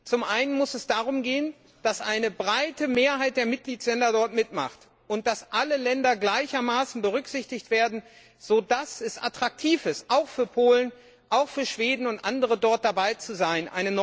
Zum einen muss es darum gehen, dass eine breite Mehrheit der Mitgliedsländer mitmacht und dass alle Länder gleichermaßen berücksichtigt werden, so dass es attraktiv ist auch für Polen, auch für Schweden und andere dabei zu sein.